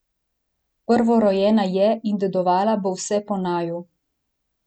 Prvorojena je in dedovala bo vse po naju.